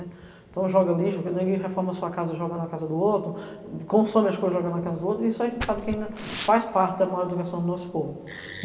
Então joga lixo, porque ninguém reforma sua casa jogando na casa do outro, consome as coisas jogando na casa do outro, e isso a gente sabe que ainda faz parte da maior educação do nosso povo.